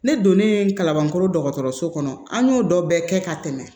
Ne donnen kabankɔrɔso kɔnɔ an y'o dɔ bɛɛ kɛ ka tɛmɛ